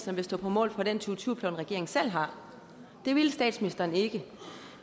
ville stå på mål for den to tusind og tyve plan regeringen selv har det ville statsministeren ikke